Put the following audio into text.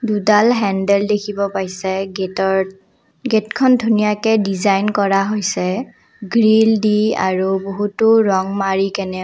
দুডাল হেণ্ডেল দেখিব পাইছে গেইটত গেইটখন ধুনীয়াকে ডিজাইন কৰা হৈছে গ্ৰিলদি আৰু বহুতো ৰং মাৰি কেনেও।